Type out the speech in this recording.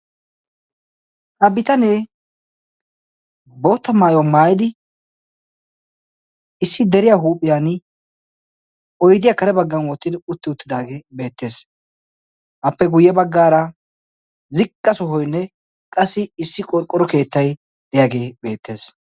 ha bitanee boota maayuwa maayidi issi deriya huuphiyan oydiyaa kare baggan oottidi utti uttidaagee beettees appe guyye baggaara zigqa sohoynne qassi issi qorqqoro keettay deyaagee beettees